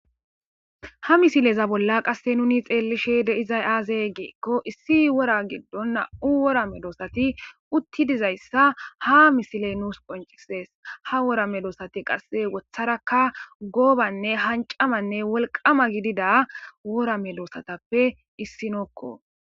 Ha misileza bolla qase nuni xeelishe de'izay aaze giiko issi wora gido nam'u wora medossati utti dizayssa ha misiley nuus qoncises ha wora medossati qas wotharaka goobanne hancamanne wolqama gidida wora medosatappe issinoko.